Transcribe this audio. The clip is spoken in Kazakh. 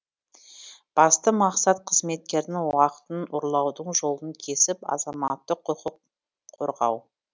басты мақсат қызметкердің уақытын ұрлаудың жолын кесіп азаматтық құқын қорғау